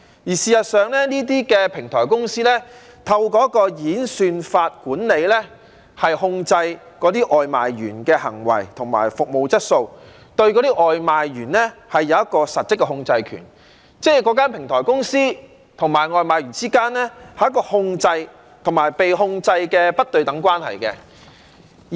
事實上，這些平台公司透過一個演算法管理和控制那些外賣員的行為及服務質素，對外賣員有一個實質的控制權，即是那間平台公司與外賣員之間，是一個控制與被控制的不對等關係。